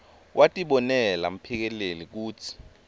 watibonela mphikeleli kutsi